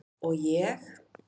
Og ég?